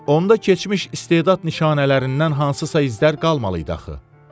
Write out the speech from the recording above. Onda keçmiş istedad nişanələrindən hansısa izlər qalmalıydı axı.